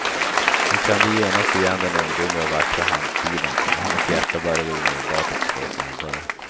Hon kände genast igen den ungdomliga och vackra handstilen, och hennes hjärta började omedelbart att slå snabbare.